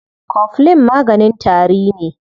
Coflin maganin tari ne.